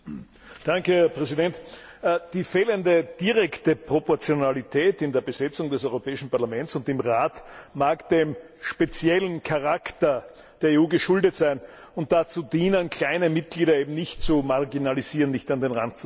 Herr Präsident! Die fehlende direkte Proportionalität in der Besetzung des Europäischen Parlaments und im Rat mag dem speziellen Charakter der EU geschuldet sein und dazu dienen, kleine Mitgliedsländer eben nicht zu marginalisieren, nicht an den Rand zu drängen.